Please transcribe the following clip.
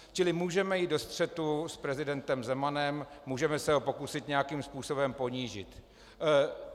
Čili můžeme jít do střetu s prezidentem Zemanem, můžeme se ho pokusit nějakým způsobem ponížit.